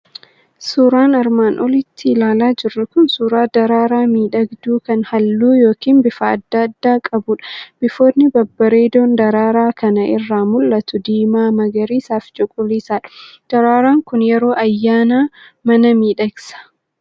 Suuraan armaan olitti ilaalaa jirru kun suuraa daraaraa miidhagduu kan halluu yookiin bifa adda addaa qabudha. Bifoonni babbareedoon daraaraa kana irraa mul'atu diimaa, magariisaa fi cuquliisadha. Daraaraan kun yeroo ayyaanaa mana miidhagsa.